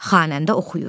Xanəndə oxuyur.